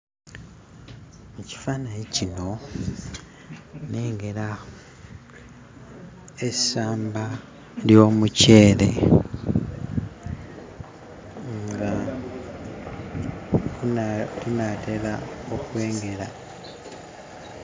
Mu kifaananyi kino nnengera essamba ly'omuceere nga gunaa gunaatera okwengera.